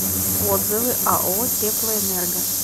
отзывы ао теплоэнерго